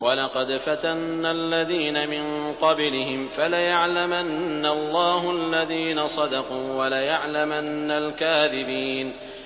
وَلَقَدْ فَتَنَّا الَّذِينَ مِن قَبْلِهِمْ ۖ فَلَيَعْلَمَنَّ اللَّهُ الَّذِينَ صَدَقُوا وَلَيَعْلَمَنَّ الْكَاذِبِينَ